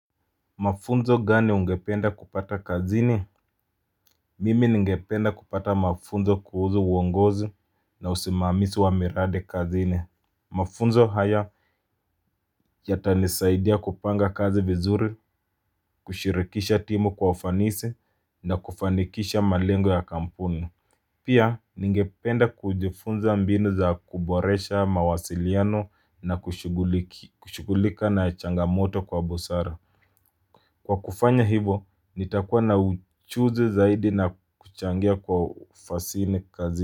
Mafunzo gani ungependa kupata kazini? Mimi ningependa kupata mafunzo kuhusu uongozi na usimamizi wa miradi kazini. Mafunzo haya yatanisaidia kupanga kazi vizuri, kushirikisha timu kwa ufanisi na kufanikisha malengo ya kampuni. Pia, ningependa kujifunza mbinu za kuboresha mawasiliano na kushughulika na changamoto kwa busara. Kwa kufanya hivo nitakuwa na uchuzi zaidi na kuchangia kwa ufanisi kazi.